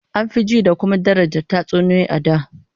An fi jin da kuma daraja tatsuniyoyi a da